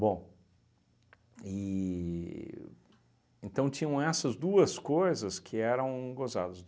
e então tinham essas duas coisas que eram gozadas.